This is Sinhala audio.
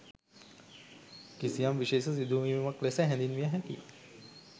කිසියම් විශේෂ සිදුවීමක් ලෙස හැඳින්විය හැකියි